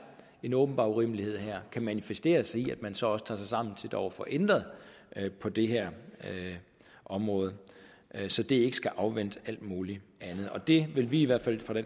en åbenbar urimelighed manifestere sig i at man så også tager sig sammen til dog at få ændret på det her område så det ikke skal afvente alt muligt andet det vil vi i hvert fald fra